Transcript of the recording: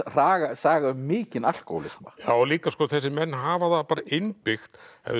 saga saga um mikinn alkóhólisma já líka þessir menn hafa það bara innbyggt